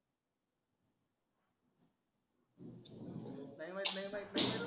नाही माहिती नाही माहिती